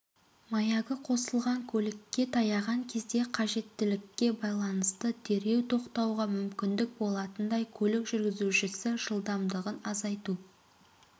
маягі қосылған көлікке таяған кезде қажеттілікке байланысты дереу тоқтауға мүмкіндік болатындай көлік жүргізуші жылдамдығын азайту